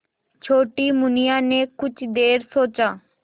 छोटी मुनिया ने कुछ देर सोचा